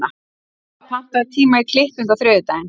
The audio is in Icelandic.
Valva, pantaðu tíma í klippingu á þriðjudaginn.